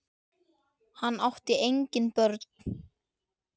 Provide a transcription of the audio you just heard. Hann átti engin börn.